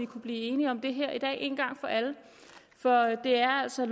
kunne blive enige om det for det er altså